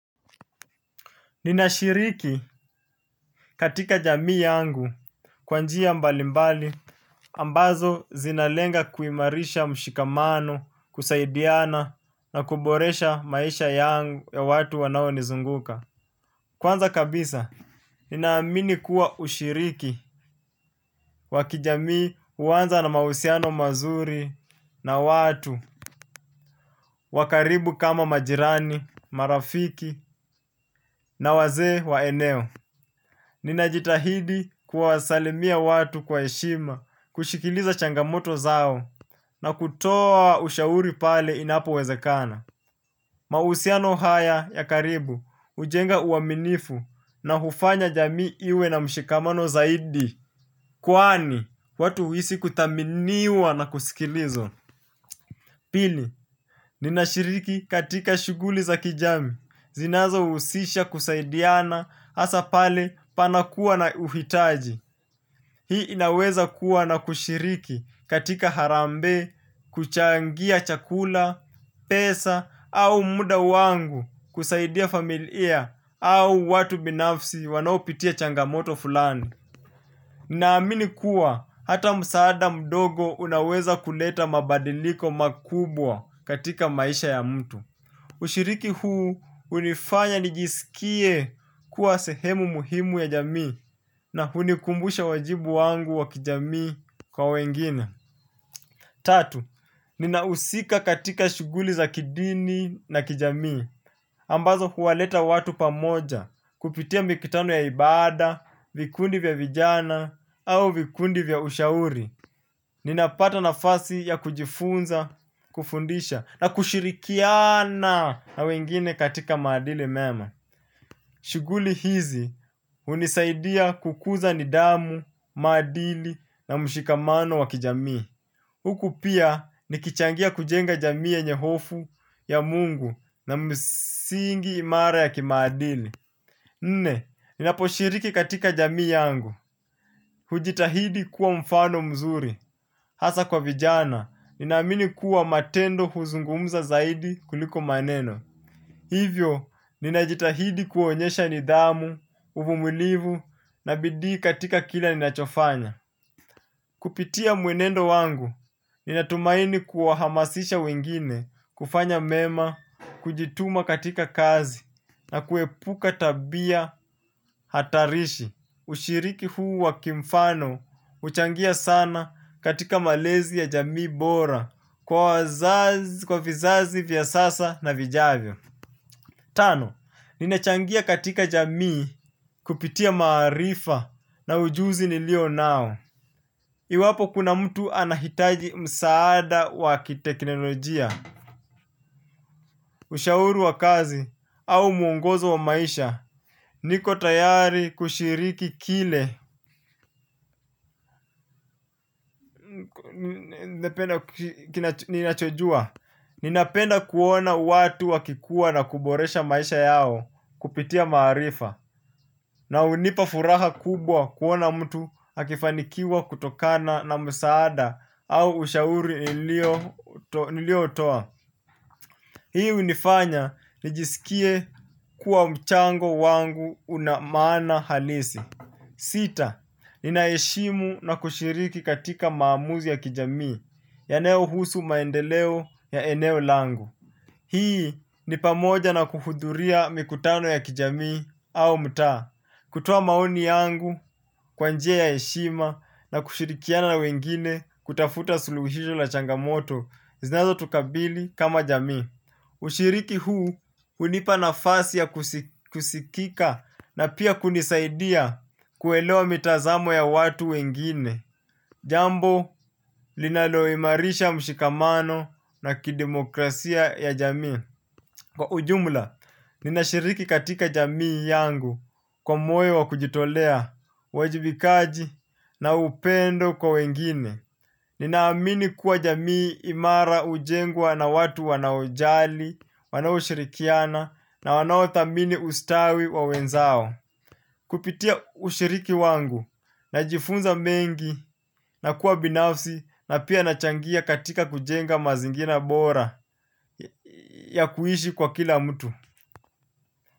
Ninashiriki katika jamii yangu kwa njia mbalimbali ambazo zinalenga kuimarisha mshikamano kusaidiana na kuboresha maisha yangu ya watu wanao nizunguka. Kwanza kabisa, ninaamini kuwa ushiriki wa kijamii uwanza na mahusiano mazuri na watu wa karibu kama majirani, marafiki na wazee wa eneo. Ninajitahidi kuwasalimia watu kwa heshima, kusikiliza changamoto zao na kutoa ushauri pale inapo wezekana. Mahusiano haya ya karibu, ujenga uaminifu na hufanya jamii iwe na mshikamano zaidi. Kwani, watu huisi kuthaminiwa na kusikilizwa. Pili, ninashiriki katika shuguli za kijamii, zinazo usisha kusaidiana hasa pale panakuwa na uhitaji. Hii inaweza kuwa na kushiriki katika harambee, kuchangia chakula, pesa, au muda wangu kusaidia familia au watu binafsi wanaopitia changamoto fulani. Naamini kuwa hata msaada mdogo unaweza kuleta mabadiliko makubwa katika maisha ya mtu. Ushiriki huu unifanya nijisikie kuwa sehemu muhimu ya jamii na hunikumbusha wajibu wangu wa kijamii kwa wengine. Tatu, ninausika katika shuguli za kidini na kijamii. Ambazo huwaleta watu pamoja kupitia mikutano ya ibada, vikundi vya vijana au vikundi vya ushauri. Ninapata nafasi ya kujifunza, kufundisha na kushirikiana na wengine katika maadili mema. Shuguli hizi unisaidia kukuza nidhamu, maadili na mshikamano wa kijamii. Huku pia nikichangia kujenga jamii yenye hofu ya mungu na msingi imara ya kimaadili. Nne, ninaposhiriki katika jamii yangu. Hujitahidi kuwa mfano mzuri, hasa kwa vijana, ninaamini kuwa matendo huzungumza zaidi kuliko maneno. Hivyo, ninajitahidi kuonyesha nidhamu, uvumilivu, na bidii katika kila ninachofanya. Kupitia mwenendo wangu, ninatumaini kuwahamasisha wengine, kufanya mema, kujituma katika kazi, na kuepuka tabia hatarishi. Ushiriki huu wa kimfano huchangia sana katika malezi ya jamii bora kwa vizazi vya sasa na vijavyo. Tano, ninachangia katika jamii kupitia maarifa na ujuzi nilio nao. Iwapo kuna mtu anahitaji msaada wa kiteknolojia ushauri wa kazi au mwongozo wa maisha niko tayari kushiriki kile ninapenda kuona watu wakikuwa na kuboresha maisha yao kupitia maarifa na hunipa furaha kubwa kuona mtu akifanikiwa kutokana na msaada au ushauri nilio utoa. Hii hunifanya nijisikie kuwa mchango wangu una maana halisi. Sita, ninaheshimu na kushiriki katika maamuzi ya kijamii yanayohusu maendeleo ya eneo langu. Hii ni pamoja na kuhudhuria mikutano ya kijamii au mtaa. Kutoa maoni yangu kwa njia ya heshima na kushirikiana wengine kutafuta suluhisho la changamoto. Zinazo tukabili kama jamii. Ushiriki huu hunipa nafasi ya kusikika na pia kunisaidia kuelewa mitazamo ya watu wengine. Jambo linaloimarisha mshikamano na kidemokrasia ya jamii. Kwa ujumla, ninashiriki katika jamii yangu kwa moyo wa kujitolea, uwajibikaji na upendo kwa wengine. Ninaamini kuwa jamii imara ujengwa na watu wanaojali, wanao shirikiana na wanao thamini ustawi wa wenzao. Kupitia ushiriki wangu najifunza mengi na kuwa binafsi na pia nachangia katika kujenga mazingira bora ya kuishi kwa kila mtu.